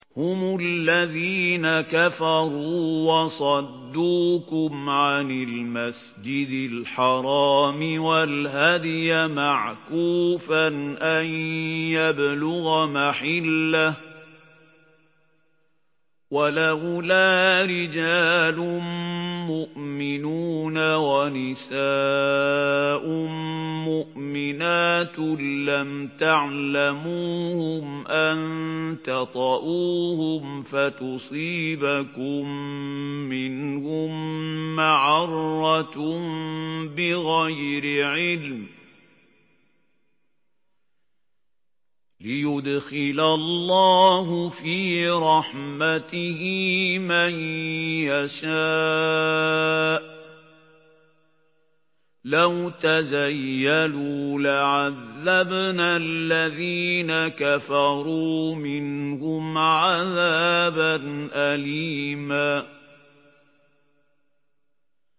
هُمُ الَّذِينَ كَفَرُوا وَصَدُّوكُمْ عَنِ الْمَسْجِدِ الْحَرَامِ وَالْهَدْيَ مَعْكُوفًا أَن يَبْلُغَ مَحِلَّهُ ۚ وَلَوْلَا رِجَالٌ مُّؤْمِنُونَ وَنِسَاءٌ مُّؤْمِنَاتٌ لَّمْ تَعْلَمُوهُمْ أَن تَطَئُوهُمْ فَتُصِيبَكُم مِّنْهُم مَّعَرَّةٌ بِغَيْرِ عِلْمٍ ۖ لِّيُدْخِلَ اللَّهُ فِي رَحْمَتِهِ مَن يَشَاءُ ۚ لَوْ تَزَيَّلُوا لَعَذَّبْنَا الَّذِينَ كَفَرُوا مِنْهُمْ عَذَابًا أَلِيمًا